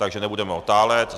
Takže nebudeme otálet.